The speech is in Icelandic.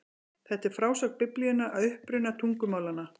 Þetta er frásögn Biblíunnar af uppruna tungumálanna.